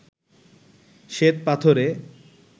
শ্বেত পাথরে